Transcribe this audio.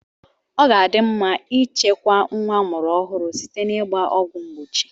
Ọ ga-adị mma ịchekwa nwa amụrụ ọhụrụ site n'igba ọgwụ mgbochi.